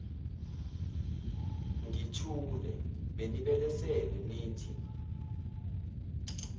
ngithule benibelesele nithi